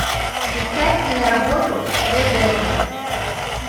искать киноработу ребекка